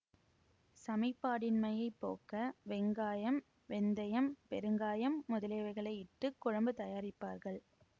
சமிபாடின்மையைப் போக்க வெங்காயம் வெந்தயம் பெருங்காயம் முதலியவைகளை இட்டு குழம்பு தயாரிப்பார்கள்